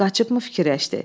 Hamı qaçıbmı fikirləşdi?